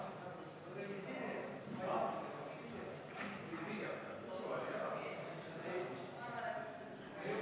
Tõsi, loomulikult tuleb siin teha ka osutus eri koalitsioonidele ja poliitilisele tahtele, mis on ilmselt ametnikke nende arvestuste puhul siiski mõjutanud.